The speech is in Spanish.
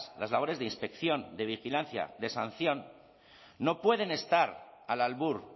las labores de inspección de vigilancia de sanción no pueden estar al albur